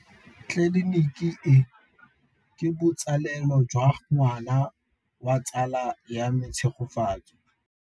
Tleliniki e, ke botsalêlô jwa ngwana wa tsala ya me Tshegofatso.